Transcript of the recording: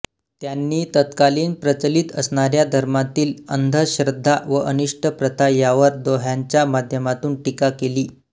त्यांनी तत्कालीन प्रचलित असणाऱ्या धर्मातील अंधश्रद्धा व अनिष्ट प्रथा यावर दोह्याच्या माध्यमातून टीका केली